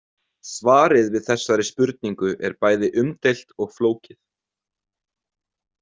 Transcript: Svarið við þessari spurningu er bæði umdeilt og flókið.